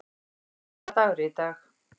Steini, hvaða dagur er í dag?